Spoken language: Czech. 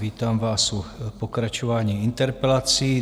Vítám vás u pokračování interpelací.